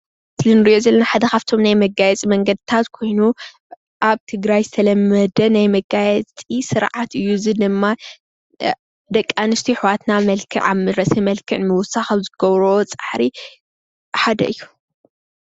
እዚ እንሪኦ ዘለና መጋየፂ ሓደ ካብቶም ናይ መግለፅታት መንገድታት ኮይኑ ኣብ ትግራይ ዝተለመደ ናይ መጋየፂ ስርዓት እዩ፣ እዙይ ድማ ደቂ ኣንስትዮ ኣሕዋትና መልክዕ ኣብ ርእሲ መልክዕ ንምውሳክ ዝገብርኦ ፃዕሪ ሓደ እዩ፡፡